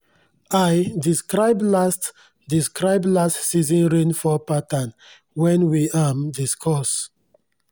i describe last describe last season rainfall pattern wen we um discuss